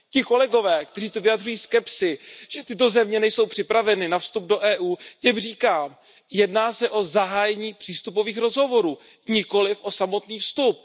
Ti kolegové, kteří zde vyjadřují skepsi, že tyto země nejsou připraveny na vstup do EU, těm říkám jedná se o zahájení přístupových rozhovorů, nikoliv o samotný vstup.